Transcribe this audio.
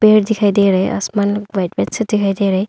घर दिखाई दे रहा है आसमान व्हाइट व्हाइट सा दिखाई दे रहा है।